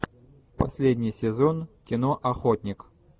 последний сезон кино охотник